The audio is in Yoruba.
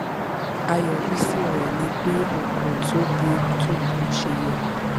àyọrísí rẹ ni pé n kò tóbi tó bó ṣe yẹ